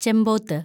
ചെമ്പോത്ത്